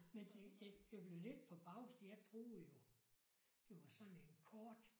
Men det jeg blev lidt forbavset jeg troede jo det var sådan en kort